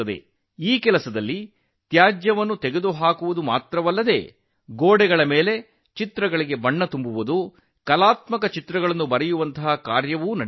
ಈ ಕಾರ್ಯದಲ್ಲಿ ಕಸ ಎತ್ತುವುದಷ್ಟೇ ಅಲ್ಲ ಗೋಡೆಗಳಿಗೆ ಬಣ್ಣ ಬಳಿಯುವ ಕಲಾತ್ಮಕ ರೇಖಾಚಿತ್ರಗಳನ್ನು ಬಿಡಿಸುವ ಕೆಲಸವೂ ನಡೆಯುತ್ತದೆ